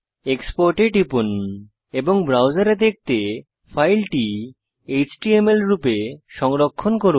export এ টিপুন এবং ব্রাউজারে দেখতে ফাইলটি এচটিএমএল রূপে সংরক্ষণ করুন